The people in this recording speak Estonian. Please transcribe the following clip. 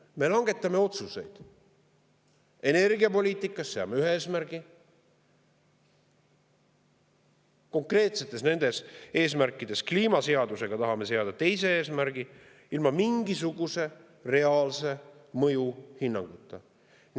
Me langetame otsuseid, energiapoliitikas seame ühe eesmärgi, aga kliimaseadusega tahame seada teise eesmärgi ilma mingisuguse reaalse mõjuhinnanguta.